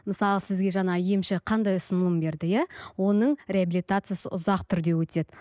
мысалы сізге жаңа емші қандай ұсынылым берді иә оның реабилитациясы ұзақ түрде өтеді